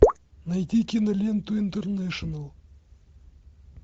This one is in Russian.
найди киноленту интернэшнл